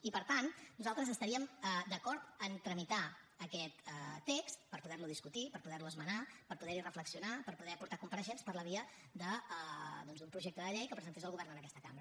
i per tant nosaltres estaríem d’acord a tramitar aquest text per poderlo discutir per poderlo esmenar per poderhi reflexionar per poder aportar compareixents per la via doncs d’un projecte de llei que presentés el govern en aquesta cambra